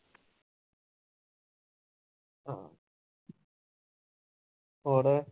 ਹੋਰ